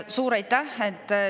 Suur aitäh!